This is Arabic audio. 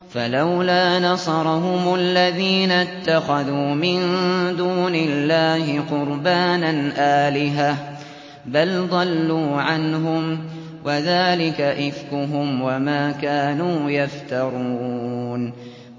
فَلَوْلَا نَصَرَهُمُ الَّذِينَ اتَّخَذُوا مِن دُونِ اللَّهِ قُرْبَانًا آلِهَةً ۖ بَلْ ضَلُّوا عَنْهُمْ ۚ وَذَٰلِكَ إِفْكُهُمْ وَمَا كَانُوا يَفْتَرُونَ